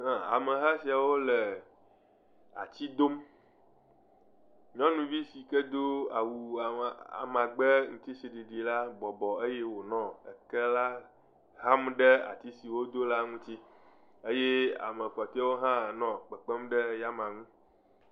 Ameha siawo le ati dom, nyɔnuvi si ke do awu ama..amagbe ŋutisiɖiɖi la bɔbɔ eye wònɔ eke xam ɖe ati si wodo la ŋuti eye ame kpɔtɔewo hã nɔ kpekpem ɖe eya amea ŋu.